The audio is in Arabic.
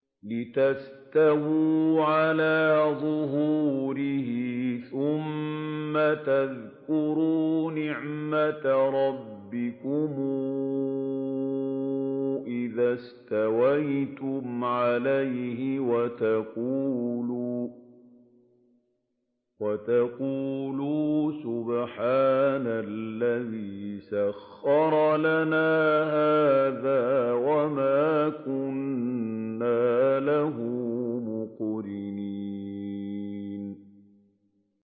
لِتَسْتَوُوا عَلَىٰ ظُهُورِهِ ثُمَّ تَذْكُرُوا نِعْمَةَ رَبِّكُمْ إِذَا اسْتَوَيْتُمْ عَلَيْهِ وَتَقُولُوا سُبْحَانَ الَّذِي سَخَّرَ لَنَا هَٰذَا وَمَا كُنَّا لَهُ مُقْرِنِينَ